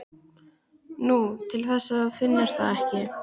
Nú, til þess að þú finnir það ekki.